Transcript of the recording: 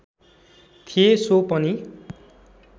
थिए सो पनि